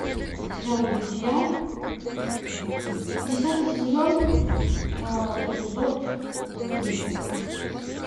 сериал друзья десятый сезон эпизод три